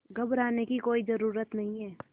घबराने की कोई ज़रूरत नहीं